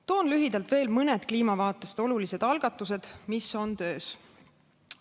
Toon lühidalt veel mõned kliima vaates olulised algatused, mis on töös.